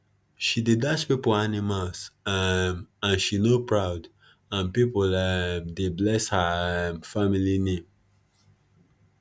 she dey dash people animals um and she no proud and people um dey bless her um family name